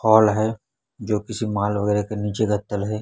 Hall है जो किसी मॉल वगैरा के नीचे का तल है।